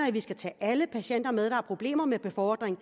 at vi skal tage alle patienter med der har problemer med befordring